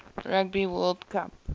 rugby world cup